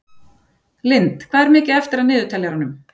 Lynd, hvað er mikið eftir af niðurteljaranum?